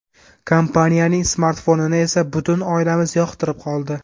Kompaniyaning smartfonini esa butun oilamiz yoqtirib qoldi.